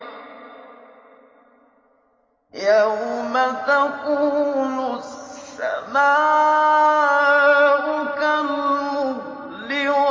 يَوْمَ تَكُونُ السَّمَاءُ كَالْمُهْلِ